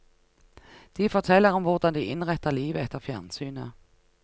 De forteller om hvordan de innretter livet etter fjernsynet.